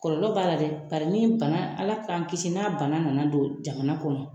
Kɔlɔlɔ b'a la dɛ. Bari ni bana , ala k'an kisi na bana nana don jamana kɔnɔ